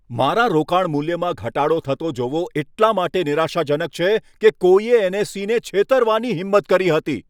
મારા રોકાણ મૂલ્યમાં ઘટાડો થતો જોવો એટલા માટે નિરાશાજનક છે કે કોઈએ એન.એસ.ઈ.ને છેતરવાની હિંમત કરી હતી.